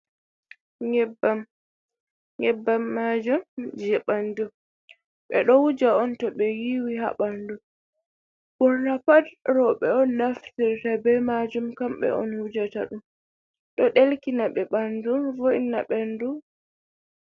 Nyebbam. Nyebbam majum je banɗu. Be ɗo wuja on to be wiwi ha banɗu. Borna pat robe on naftirta be majum. kambe on wujata ɗum, ɗo ɗelkina be banɗu vo’ina banɗu.